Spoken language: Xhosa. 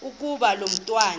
ukuba lo mntwana